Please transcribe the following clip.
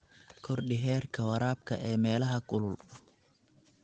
Kordhi heerka waraabka ee meelaha kulul.